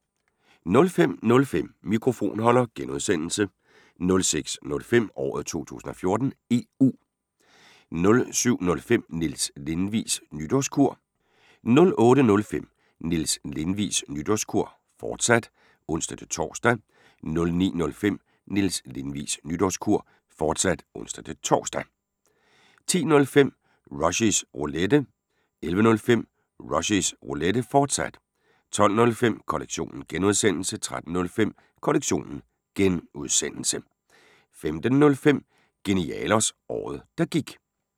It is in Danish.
05:05: Mikrofonholder (G) 06:05: Året 2014: EU 07:05: Niels Lindvigs Nytårskur 08:05: Niels Lindvigs Nytårskur, fortsat (ons-tor) 09:05: Niels Lindvigs Nytårskur, fortsat (ons-tor) 10:05: Rushys Roulette 11:05: Rushys Roulette, fortsat 12:05: Kollektionen (G) 13:05: Kollektionen (G) 15:05: Genialos – Året der gik